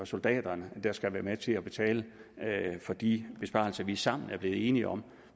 soldater der skal være med til at betale for de besparelser vi sammen er blevet enige om